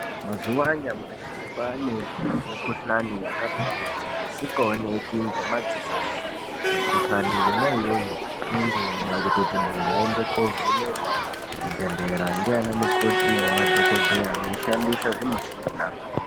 Mzuva anyamashi kwava nemukuhlani yakati kuti isingaonekwi ngemziso pi mukuhkani yona iyoyo anenge itida kuti muntu atovhenekwa kuzvibhedhlera nana mukoti nemadhokodheya vachishandisa zvimushina.